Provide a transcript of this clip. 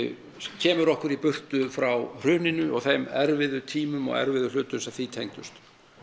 kemur okkur í burtu frá hruninu og þeim erfiðu tímum og erfiðu hlutum sem því tengdust